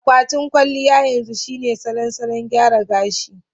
Akwatin kwalliya yanzu shine salon salon gyara gashi.